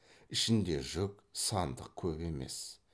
ішінде жүк сандық көп емес